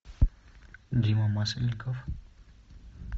дима масленников